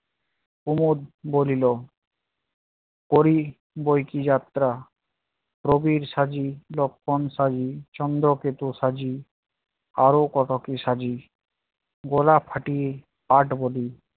কুমদ বলিল করি বই কী যাত্রা রবির সাজি, লক্ষন সাজি, চন্দ্রকেটু সাজি, আরও কত কি সাজি গলা ফাটিয়ে কাঠ হবি